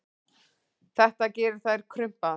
Þetta gerir þær krumpaðar.